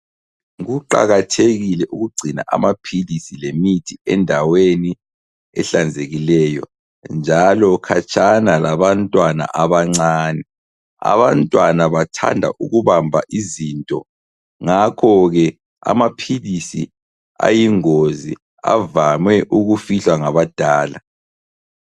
Kuqakathekile ukugcina amaphilisi lemithi endaweni ehlanzekileyo njalo khatshana labantwana abancane. Abantwana bathanda ukubamba izinto, ngakho ke amaphilisi ayingozi avame ukufihlwa ngabadala.